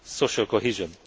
social cohesion.